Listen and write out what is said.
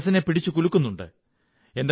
എന്റെ മനസ്സിനെ പിടിച്ചു കുലുക്കുന്നുണ്ട്